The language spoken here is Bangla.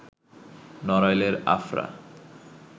নড়াইলের আফরা